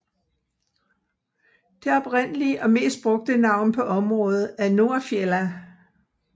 Det oprindelige og mest brugte navn på området er Nordfjella